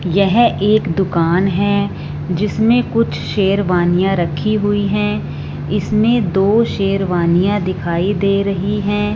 यह एक दुकान है जिसमें कुछ शेरवानियां रखी हुई हैं इसमें दो शेरवानियां दिखाई दे रही हैं।